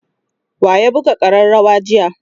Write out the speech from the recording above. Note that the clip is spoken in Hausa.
wa ya buga karrawar jiya?